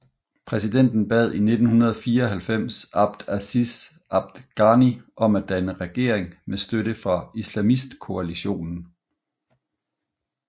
Præsidenten bad i 1994 Abd Aziz Abd Ghani om at danne regering med støtte fra islamistkoalitionen